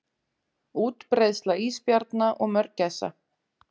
Útbreiðsla ísbjarna og mörgæsa.